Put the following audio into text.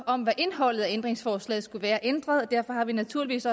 om hvad indholdet i ændringsforslaget skulle være så ændret og derfor har vi naturligvis